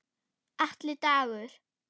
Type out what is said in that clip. Atli Dagur.